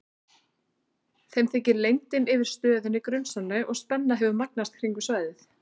Þeim þykir leyndin yfir stöðinni grunsamleg og spenna hefur magnast kringum svæðið.